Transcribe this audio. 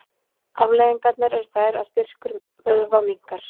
afleiðingarnar eru þær að styrkur vöðva minnkar